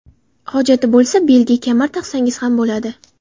Hojati bo‘lsa, belga kamar taqsangiz ham bo‘ladi.